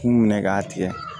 K'u minɛ k'a tigɛ